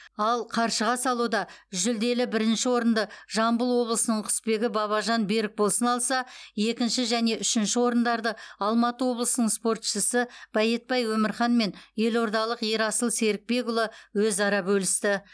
ал қаршыға салуда жүлделі бірінші орынды жамбыл облысының құсбегі бабажан берікболсын алса екінші және үшінші орындарды алматы облысының спортшысы байетбай өмірхан мен елордалық ерасыл серікбекұлы өзара бөлісті